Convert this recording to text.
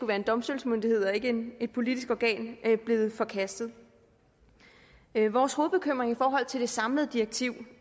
være en domstolsmyndighed og ikke et politisk organ blevet forkastet vores hovedbekymring i forhold til det samlede direktiv